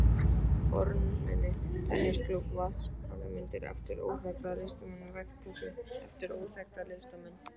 fornmuni, tennisklúbbinn, vatnslitamyndir eftir óþekkta listamenn, veggteppi eftir óþekkta listamenn.